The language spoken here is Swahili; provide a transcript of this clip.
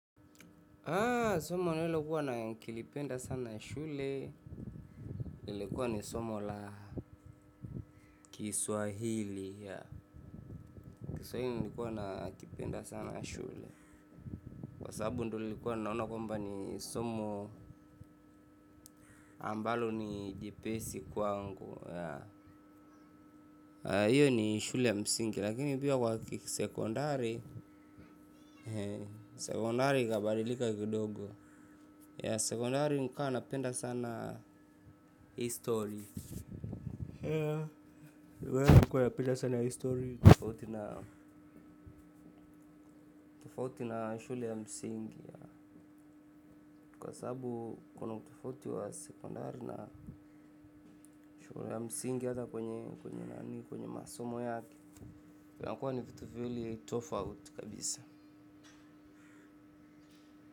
Somo nilikuwa nikilipenda sana shule, nilikuwa ni somo la Kiswahili. Kiswahili nilikuwa nakipenda sana shule. Kwa sababu ndo nilikuwa naona kwamba ni somo ambalo ni jepesi kwangu. Hiyo ni shule yamsingi, lakini pia kwa sekondari sekondari ikabadilika kidogo. Sekondari nikuwa napenda sana history. Tofauti na shule ya msingi kwa sabu kuna utofauti wa sekondari na shule ya msingi hata kwenye masomo yake yanakuwa ni vitu viwili tofauti kabisa.